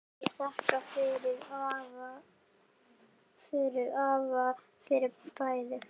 Ég þakka afa fyrir bæði.